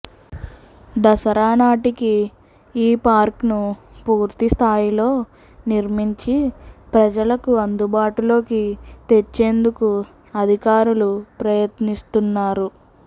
దసరా నాటికి ఈ పార్క్ ను పూర్తి స్థాయిలో నిర్మించి ప్రజలకు అందుబాటులోకి తెచ్చేందుకు అధికారులు ప్రయత్నిస్తున్నారు